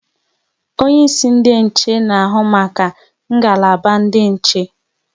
Onye isi ndị nche na ahụ maka ngalaba ndị nche